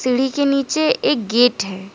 Building के नीचे एक गेट है ।